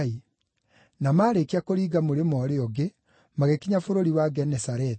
Na maarĩkia kũringa mũrĩmo ũrĩa ũngĩ, magĩkinya bũrũri wa Genesareti.